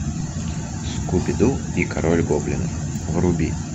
скуби ду и король гоблинов вруби